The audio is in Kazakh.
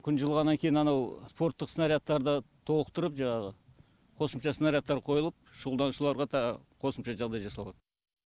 күн жылығаннан кейін анау спорттық снарядтарды толықтырып жаңағы қосымша снарядтар қойылып шұғылданушыларға қосымша жағдай жасалад